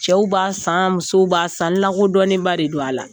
Cɛw b'a san musow b'a san n lakodɔnnen ba de do a la.